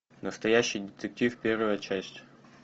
настоящий детектив первая часть